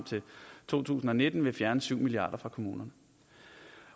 til to tusind og nitten vil fjerne syv milliard kroner fra kommunerne